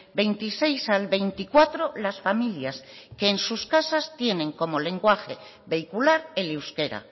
veintiséis al veinticuatro las familias que en sus casas tienen como lenguaje vehicular el euskera